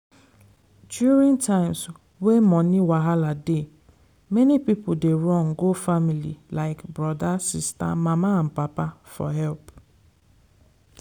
during times wey money wahala dey many people dey run go family like brother sister mama and papa for help.